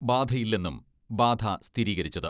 ബാധയില്ലെന്നും ബാധ സ്ഥിരീകരിച്ചത്.